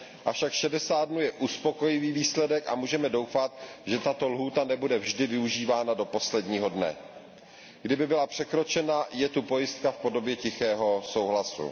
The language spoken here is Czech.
Avšak šedesát dnů je uspokojivý výsledek a můžeme doufat, že tato lhůta nebude vždy využívána do posledního dne. Kdyby byla překročena, je tu pojistka v podobě tichého souhlasu.